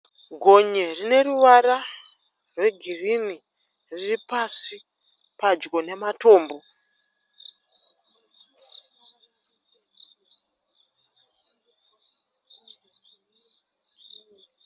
Gonye rine ruvara rwegirini riri pasi padyo namatombo.